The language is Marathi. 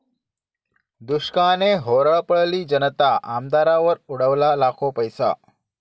दुष्काळाने होरपळली जनता, आमदारावर उडवला लाखो पैसा!